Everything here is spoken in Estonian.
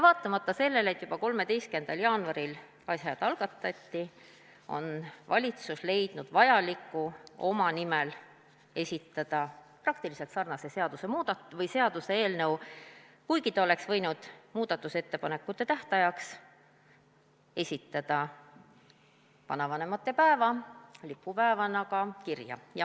Vaatamata sellele, et juba 13. jaanuaril eelnõud algatati, on valitsus leidnud vajaliku olevat esitada oma nimel praktiliselt sarnase seaduseelnõu, kuigi ta oleks võinud muudatusettepanekute tähtajaks esitada ettepaneku teha vanavanemate päev lipupäevaks.